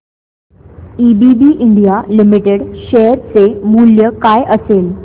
ABB India limited share चे मूल्य काय असेल